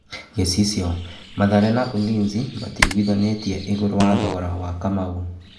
(Gĩ cicio) Mathare na Ulinzi matiiguithanĩ tie igũrũ rĩ a thogora wa Kamau.